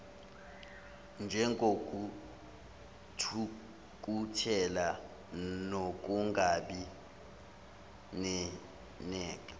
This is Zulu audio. njengokuthukuthela nokungabi nesineke